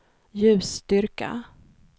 ljusstyrka